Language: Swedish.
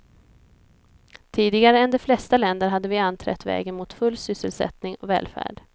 Tidigare än de flesta länder hade vi anträtt vägen mot full sysselsättning och välfärd.